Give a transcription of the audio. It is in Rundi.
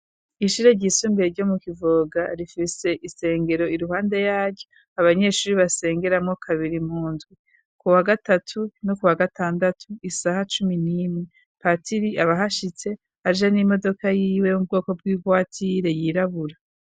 Ishure ryisumbiye ryo mu kivoga rifise isengero i ruhande yaryo abanyeshure basengeramwo kabiri mundwi ku wa gatatu no ku wa gatandatu isaha cumi n'imwe patiri abahashitse aje n'imodoka y'iwe yomu bwoko bw'ibwatire yirabura.